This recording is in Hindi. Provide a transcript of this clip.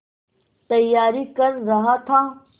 तैयारी कर रहा था